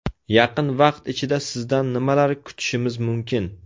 Yaqin vaqt ichida sizdan nimalar kutishimiz mumkin?